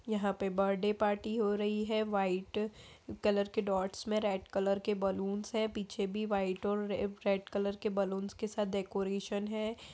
यहाँ पे birthday party हो रही है व्हाइट कलर के डॉटस में रेड कलर के बलूंस हैं पीछे भी व्हाइट और रे-रेड कलर के बलूनस के साथ डेकोरेशन है।